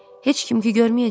Heç kim ki görməyəcək?